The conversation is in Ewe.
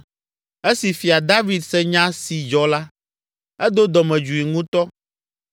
Esi Fia David se nya si dzɔ la, edo dɔmedzoe ŋutɔ.